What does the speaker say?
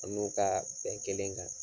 I n'u kaa bɛn kelen kan.